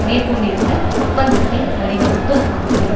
மேற்கொண்டிருந்த ஒப்பந்தத்தின் வடிவமைப்பு ஆகும்